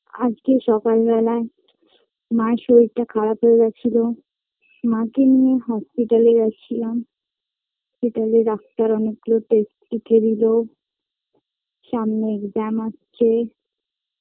আজকে সকাল বেলায় মা এর শরীরটা খারাপ হয় গেছিলো মাকে নিয়ে hospital -এ গেছিলাম সেখানে doctor অনেক গুলো test লিখেদিল সামনে exam আছে।